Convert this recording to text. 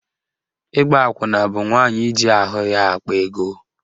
Ịgba akwụna bụ nwaanyị iji ahụ ya akpa ego.